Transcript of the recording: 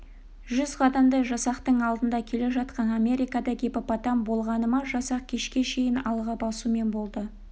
жүз қадамдай жасақтың алдында келе жатқан америкада гиппопотам болғаны ма жасақ кешке шейін алға басумен болды